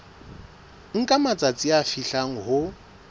nka matsatsi a fihlang ho